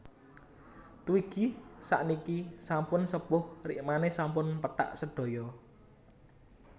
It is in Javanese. Twiggy sakniki sampun sepuh rikmane sampun pethak sedaya